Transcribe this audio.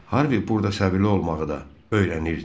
Harvi burda səbirli olmağı da öyrənirdi.